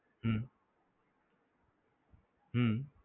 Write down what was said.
હમ હમ